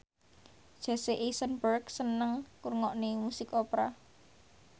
Jesse Eisenberg seneng ngrungokne musik opera